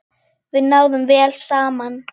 Við náðum vel saman.